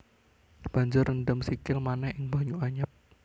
Banjur rendem sikil manéh ing banyu anyep